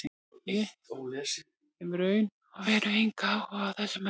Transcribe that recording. Ég hef í raun og veru engan áhuga á þessum mönnum.